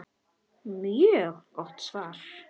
Hansa: Mjög gott svar.